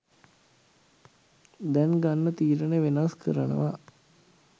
දැන් ගන්න තීරණ වෙනස් කරනවා.